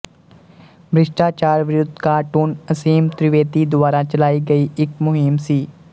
ਭ੍ਰਿਸ਼ਟਾਚਾਰ ਵਿਰੁੱਧ ਕਾਰਟੂਨ ਅਸੀਮ ਤ੍ਰੀਵੇਦੀ ਦੁਆਰਾ ਚਲਾਈ ਗਈ ਇੱਕ ਮੁਹਿੰਮ ਸੀ